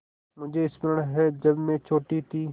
मुझे स्मरण है जब मैं छोटी थी